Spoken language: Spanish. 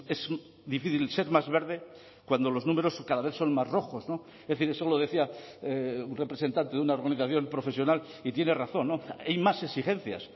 es difícil ser más verde cuando los números cada vez son más rojos es decir eso lo decía un representante de una organización profesional y tiene razón hay más exigencias